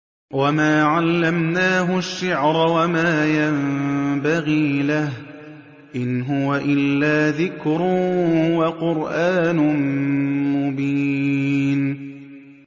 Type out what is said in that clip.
وَمَا عَلَّمْنَاهُ الشِّعْرَ وَمَا يَنبَغِي لَهُ ۚ إِنْ هُوَ إِلَّا ذِكْرٌ وَقُرْآنٌ مُّبِينٌ